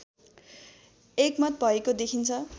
एकमत भएको देखिन्छ